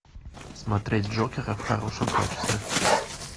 смотреть джокера в хорошем качестве